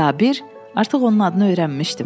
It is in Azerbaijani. Sabir artıq onun adını öyrənmişdim.